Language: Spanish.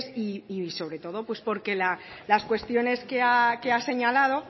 y sobre todo porque las cuestiones que ha señalado